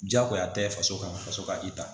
Diyagoya tɛ faso kan faso ka i ta